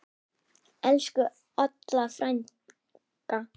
Elsku Olla frænka.